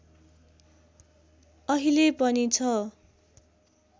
अहिले पनि छ